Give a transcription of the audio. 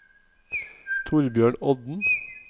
Thorbjørn Odden